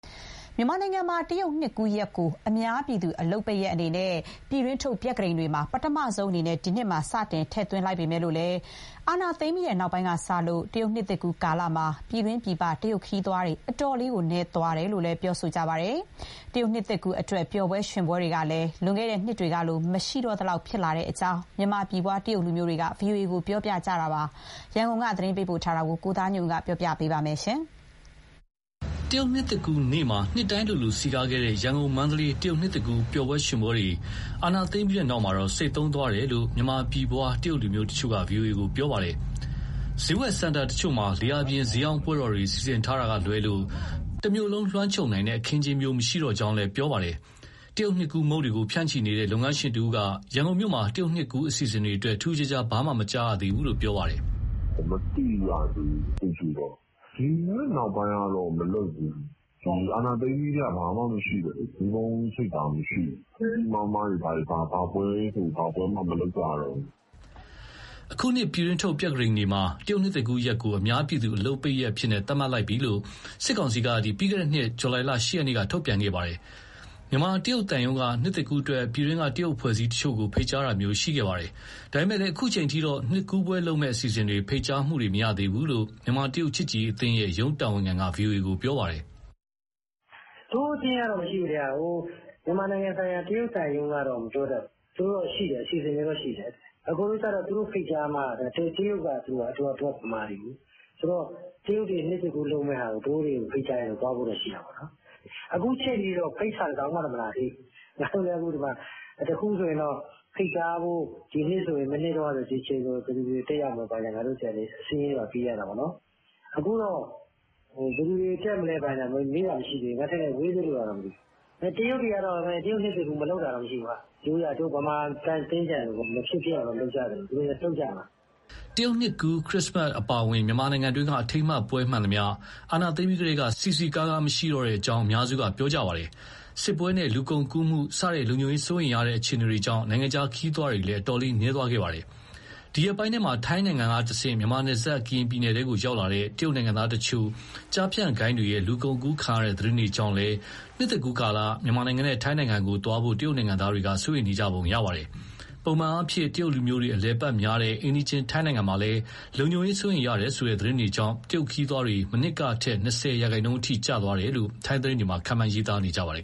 မြန်မာနိုင်ငံမှာ တရုတ်နှစ်သစ်ကူးရက်ကို အများပြည်သူ အလုပ်ပိတ်ရက်အနေနဲ့ ပြည်တွင်းထုတ် ပြက္ခဒိန်တွေမှာ ပထမဆုံးအနေနဲ့ ထည့်သွင်းလိုက်ပေမဲ့ အာဏာသိမ်းပြီး နောက်ပိုင်း တရုတ်နှစ်သစ်ကူးကာလမှာ ပြည်တွင်း၊ ပြည်ပ တရုတ်ခရီးသွားတွေ အတော်လေးနည်းသွားပါတယ်။ တရုတ်နှစ်သစ်ကူးအတွက် ပျော်ပွဲ ရွှင်ပွဲတွေလည်း လွန်ခဲ့တဲ့ နှစ်တွေကလို မရှိတော့သလောက် ဖြစ်လာတဲ့အကြောင်း မြန်မာပြည်ဖွား တရုတ်လူမျိုးတွေက VOA ကို ပြောပါတယ်။ ရန်ကုန်က သတင်းပေးပို့ထားတာပြောပြမှာပါ။ တရုတ်နှစ်သစ်ကူးနေ့မှာ နှစ်တိုင်းလိုလို စည်ကားခဲ့တဲ့ ရန်ကုန်၊ မန္တလေး တရုတ်နှစ်သစ်ကူး ပျော်ပွဲရွှင်ပွဲတွေဟာ အာဏာသိမ်းပြီးနောက်မှာ ဆိတ်သုန်းသွားတယ်လို့ မြန်မာပြည်ဖွား တရုတ်လူမျိုး တချို့က VOA ကိုပြောပါတယ်။ စျေးဝယ်စင်တာတချို့မှာ လေဟာပြင် စျေးရောင်းပွဲတော်တွေ စီစဉ်ထားတာကလွဲလို့ တမြို့လုံး လွှမ်းခြုံနိုင်တဲ့ အခင်းအကျင်းမျိုး မရှိတော့ကြောင်း ပြောပါတယ်။ တရုတ်နှစ်ကူးမုန့်တွေကို ဖြန့်ချီနေတဲ့ လုပ်ငန်းရှင်တဦးက ရန်ကုန်မြို့မှာ တရုတ်နှစ်ကူး အစီအစဉ်တွေအတွက် ထူးထူးခြားခြား ဘာမှမကြားရသေးကြောင်း ပြောပါတယ်။ "မသိရသေးဘူး အခုအထိတော့။ ဒီနောက်ပိုင်းတော့ မလုပ်ဘူး။ ဒီအာဏာသိမ်းပြီးကတည်းက ဘာမှမရှိ၊ မီးပုံးချိတ်တာ မရှိတော့ဘူး။ ကြီးကြီးမားမား ဘာပွဲဆိုဘာမှ မလုပ်ကြတော့ဘူး။" အခုနှစ် ပြည်တွင်းထုတ် ပြက္ခဒိန်မှာ တရုတ်နှစ်သစ်ကူးရက်ကို အများပြည်သူ အလုပ်ပိတ်ရက်အဖြစ် သတ်မှတ်လိုက်ပြီလို့ စစ်ကောင်စီက ပြီးခဲ့တဲ့နှစ် ဇူလိုင်လ ၈ ရက်မှာ ထုတ်ပြန်ထားပါတယ်။ မြန်မာတရုတ်သံရုံးက နှစ်သစ်ကူးအတွက် ပြည်တွင်းက တရုတ် အဖွဲ့အစည်းတချို့ကို ဖိတ်ကြားတာမျိုး ရှိခဲ့ပါတယ်။ ဒါပေမဲ့ အခုအချိန်အထိတော့ နှစ်ကူးပွဲလုပ်မယ့်အစီအစဉ်တွေ ဖိတ်ကြားမှုတွေ မရသေးဘူးလို့ မြန်မာ-တရုတ် ချစ်ကြည်ရေးအသင်းရဲ့ ရုံးတာဝန်ခံက ဗွီအိုအေကို ပြောပါတယ်။ "တို့အသင်းကတော့ မရှိဘူး။ မြန်မာနိုင်ငံဆိုင်ရာ တရုတ်သံရုံးကတော့ မပြောတတ်ဘူး။ သူတို့တော့ အစီအစဉ်တွေတော့ရှိတယ်။ အကိုတို့ကျ သူတို့ဖိတ်ကြားမှ တို့ကဗမာတွေကိုး။ ဆိုတော့ တရုတ်တွေ နှစ်သစ်ကူးလုပ်မဲ့ဟာကို တို့တွေကို ဖိတ်ကြားရင်တော့ သွားဖို့ရှိတာပေါ့နော်။ အခုအချိန်အထိတော့ ဖိတ်စာ တစောင်မှ မလာသေးဘူး။ ငါတို့လည်း ဒီမှာ တခုခုဆိုရင်တော့ ဖိတ်ကြားဖို့... မနှစ်တုန်းက ဒီအချိန်ဆိုရင် ဘယ်သူတွေ တက်ရောက်မယ် ဘာညာ စာရင်းတွေဘာတွေ ပေးရတာပေါ့နော်။ အခုတော့ ဘယ်သူတွေတက်မလဲ ဘာညာ မေးတာမရှိသေးဘူး။ ထင်တယ် ဝေးသေးလို့လားမသိဘူး။ တရုတ်တွေကတော့ တရုတ်နှစ်ကူး မလုပ်တာတော့မရှိဘူး၊ တို့ဗမာ သင်္ကြန်လိုပေါ့ မဖြစ်ဖြစ်အောင် လုပ်ကြသလို သူတို့လည်း လုပ်ကြမှာ။" တရုတ်နှစ်ကူး၊ ခရစ်စမတ်အပါအဝင် မြန်မာပြည်တွင်းက အထိမ်းအမှတ်ပွဲမှန်သမျှ အာဏာသိမ်းပြီးကတည်းက စည်စည်ကားကား မရှိတော့ကြောင်း အများစုက ပြောကြပါတယ်။ စစ်ပွဲနဲ့ လူကုန်ကူးမှုစတဲ့ လုံခြုံရေး စိုးရိမ်ရတဲ့ အခြေအနေတွေကြောင့် နိုင်ငံခြားခရီးသွားလည်း အတော်လေး နည်းသွားခဲ့ပါတယ်။ ဒီရက်ပိုင်းထဲမှာ ထိုင်းကတဆင့် မြန်မာနယ်စပ် ကရင်ပြည်နယ်ကို ရောက်လာတဲ့ တရုတ်နိုင်ငံသား တချို့ ကျားဖြန့်ဂိုဏ်းတွေရဲ့ လူကုန်ကူးခံရတဲ့ သတင်းတွေကြောင့်လည်း နှစ်သစ်ကူးကာလ မြန်မာနဲ့ ထိုင်းနိုင်ငံကို သွားဖို့ တရုတ်နိုင်ငံသားတွေ စိုးရိမ်နေကြပါတယ်။ ပုံမှန်အားဖြင့် တရုတ်လူမျိုးတွေ အလည်အပတ်များတဲ့ အိမ်နီးချင်း ထိုင်းနိုင်ငံမှာလည်း လုံခြုံရေးစိုးရိမ်ရတယ်ဆိုတဲ့ သတင်းတွေကြောင့် တရုတ်ခရီးသွား မနှစ်ကထက် ၂၀ ရာခိုင်နှုန်းအထိ ကျသွားနိုင်တယ်လို့ ထိုင်းသတင်းတွေက ခန့်မှန်းရေးသားနေကြပါတယ်